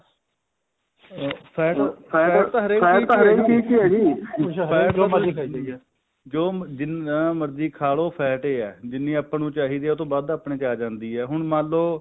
ਹਮ fat fat fat ਤਾਂ ਹਰੇਕ ਚੀਜ਼ ਆ ਜੀ ਹਰੇਕ ਜੋ ਮਰਜ਼ੀ ਖਾਈ ਜਾਈਏ ਜਦੋਂ ਜਿੰਨਾ ਮਰਜ਼ੀ ਖਾਲੋ fat ਹੀ ਹੈ ਜਿੰਨੀ ਆਪਾਂ ਨੂੰ ਚਾਹੀਦੀ ਹੈ ਉਹਤੋਂ ਵੱਧ ਆਪਣੇ ਚ ਆ ਜਾਂਦੀ ਹੈ ਹੁਣ ਮੰਨਲੋ